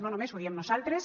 no només ho diem nosaltres